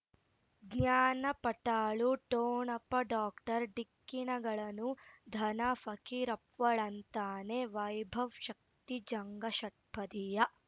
ಜ್ಞಾನ ಪಟಾಲು ಠೋಣಪ ಡಾಕ್ಟರ್ ಢಿಕ್ಕಿ ಣಗಳನು ಧನ ಫಕೀರಪ್ಪ ಳಂತಾನೆ ವೈಭವ್ ಶಕ್ತಿ ಝಗಾ ಷಟ್ಪದಿಯ